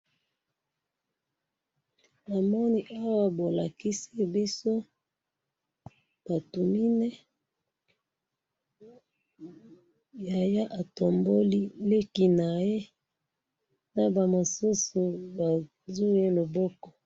Na moni awa bolakisi biso batu mine yaya atomboli leki na ye, na ba mususu ba zui ye loboko.